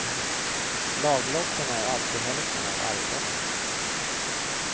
Laglotten är alltid hälften av arvslotten.